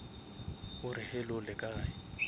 o re hello le kae